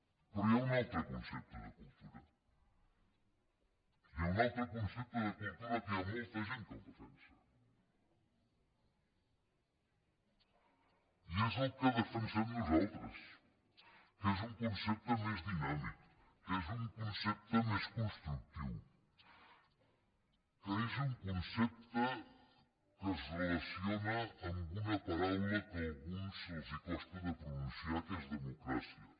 però hi ha un altre concepte de cultura hi ha un altre concepte de cultura que hi ha molta gent que el defensa i és el que defensem nosaltres que és un concepte més dinàmic que és un concepte més constructiu que és un concepte que es relaciona amb una paraula que a alguns els costa pronunciar que és democràcia